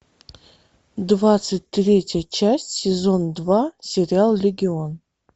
двадцать третья часть сезон два сериал легион